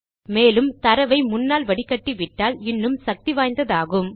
மேலும் நீங்கள் தரவை முன்னால் வடிகட்டிவிட்டால் இன்னும் சக்தி வாய்ந்ததாகும்